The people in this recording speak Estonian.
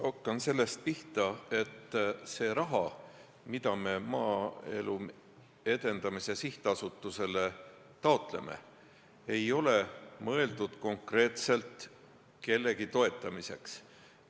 Hakkan sellest pihta, et see raha, mida me Maaelu Edendamise Sihtasutusele taotleme, ei ole mõeldud konkreetselt kellegi toetamiseks.